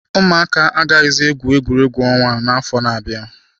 Ụmụaka agaghịzi egwu egwuregwu ọnwa n'afọ ndị na-abịa.